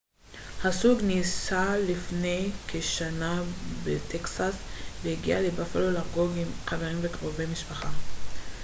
הזוג נישא לפני כשנה בטקסס והגיע לבאפלו לחגוג עם חברים וקרובי משפחה